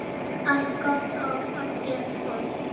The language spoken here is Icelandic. Allt gott og fallegt fólk.